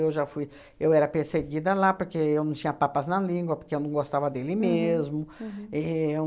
já fui... Eu era perseguida lá, porque eu não tinha papas na língua, porque eu não gostava dele mesmo. E